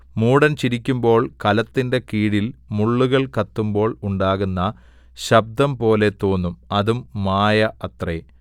മൂഢൻ ചിരിക്കുമ്പോൾ കലത്തിന്റെ കീഴിൽ മുള്ളുകൾ കത്തുമ്പോൾ ഉണ്ടാകുന്ന ശബ്ദംപോലെ തോന്നും അതും മായ അത്രേ